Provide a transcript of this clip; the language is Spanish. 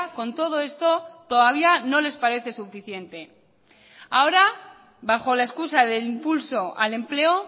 con todo esto todavía no les parece suficiente ahora bajo la excusa del impulso al empleo